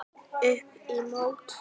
Upp í mót.